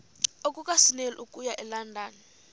lukasnail okuya elondon